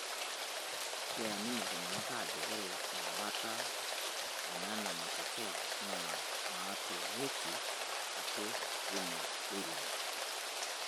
Keamini iltung'ana ajo ore embata oo nena matokea naa natung'uoki ake teina wilaya